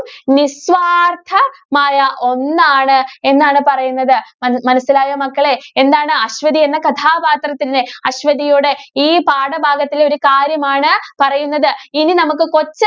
നിസ്വാര്‍ത്ഥമായ ഒന്നാണ് എന്നാണ് പറയുന്നത്. മ~മനസ്സിലായോ മക്കളേ? എന്താണ് അശ്വതി എന്ന കഥാപാത്രത്തിന്റെ അശ്വതിയുടെ ഈ പാഠഭാഗത്തിലെ ഒരു കാര്യമാണ് പറയുന്നത്. ഇനി നമുക്ക് കൊച്ചനു~